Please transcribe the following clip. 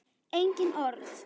Engin orð.